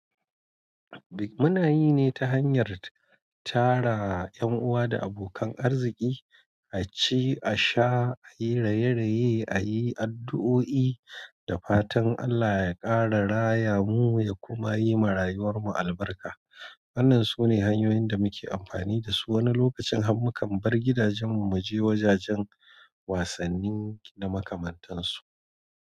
Bik mu na yi ne ta hanyar tara 'yan uwa da abokan arziki, a ci a sha, a yi raye-raye, a yi addu'o'i da fatan Allah ya ƙara raya mu ya kuma yi ma rayuwar mu albarka. Wannan sune hanyoyin da muke amfani dasu wani lokacin hammukan bar gidajen mu, mu je wajajen wasanni na makamantansu.